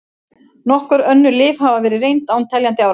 Nokkur önnur lyf hafa verið reynd án teljandi árangurs.